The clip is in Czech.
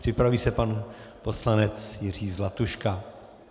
Připraví se pan poslanec Jiří Zlatuška.